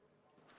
Palun!